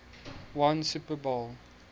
won super bowl